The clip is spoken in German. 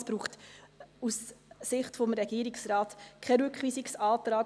Es braucht aus Sicht des Regierungsrates keinen Rückweisungsantrag.